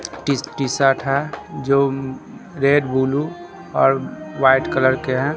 T T-shirt है जो red blue और व्हाइट कलर के हैं।